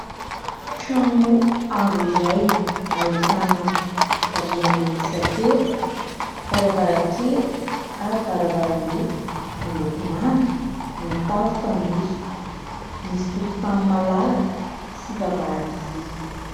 Trano avo iray, ahitana rihana mihisa telo, varavarankely ary varavarambe, miloko manga, ny tafo fanitso, misy tokontany malalaka sy vavahady vy.